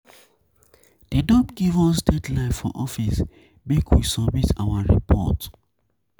Dem don give us deadline for office, make we submit our report. submit our report.